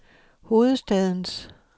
hovedstadens